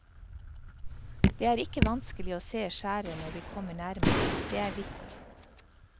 Det er ikke vanskelig å se skjæret når vi kommer nærmere, det er hvitt.